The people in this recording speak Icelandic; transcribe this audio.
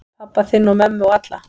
Pabba þinn og mömmu og alla.